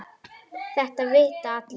Þetta vita allir.